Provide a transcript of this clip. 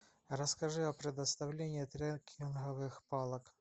расскажи о предоставлении трекинговых палок